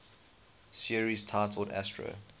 series titled astro